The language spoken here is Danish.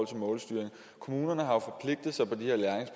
til målstyring kommunerne har